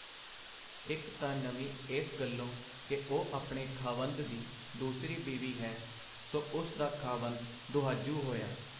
ਇਕ ਤਾਂ ਨਵੀਂ ਇਸ ਗੱਲੋਂ ਕਿ ਉਹ ਆਪਣੇ ਖ਼ਾਵੰਦ ਦੀ ਦੂਸਰੀ ਬੀਵੀ ਹੈ, ਸੋ ਉਸ ਦਾ ਖ਼ਾਵੰਦ ਦੁਹਾਜੂ” ਹੋਇਆ.